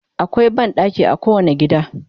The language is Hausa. akwai banɗaki a kowani gida